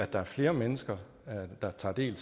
der er flere mennesker der tager del i